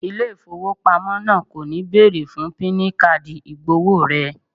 Ilé ìfowópamọ́ náà kò ní bẹ̀ẹ̀rè fún píìnì káàdì ìgbọ̀wọ́ rẹ